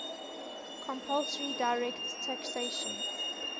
compulsory direct taxation